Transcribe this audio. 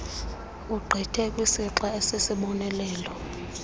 ogqithe kwisixa esisisibonelelo